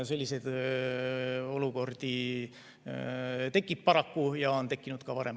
Selliseid olukordi tekib paraku ja on tekkinud ka varem.